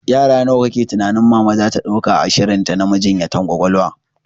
Yara nawa kake tunanin mama zata dauka a shirinta na majinyatan ƙwaƙwalwa?